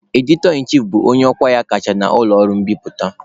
"Editor-in-chief" bụ onye ọkwa ya kacha na ụlọ ọrụ mbiputa.